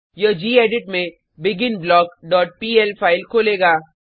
यह गेडिट में begin block dot PL file खोलेगा